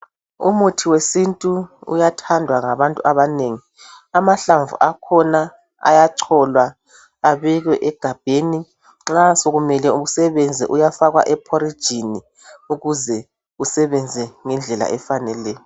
Umuthi wesintu uyathandwa ngabantu abanengi. Amahlamvu akhona ayacholwa abekwe egabheni. Nxa sekumele usebenze, uyafakwa ephorijini ukuze usebenze ngendlela efaneleyo.